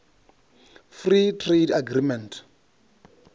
free trade agreement